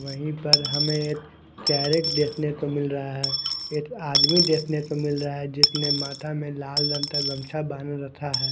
वहींपर हमे एक कैरट देखनेको मिल रहा है एक आदमी देखनेको मिल रहा है जिसने माथा में लाल रंग का गमच्या बांद कर रखा है।